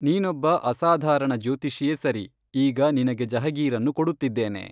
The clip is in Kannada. ನೀನೊಬ್ಬ ಅಸಾಧಾರಣ ಜ್ಯೋತಿಷಿಯೇ ಸರಿ, ಈಗ ನಿನಗೆ ಜಹಗೀರನ್ನು ಕೊಡುತ್ತಿದ್ದೇನೆ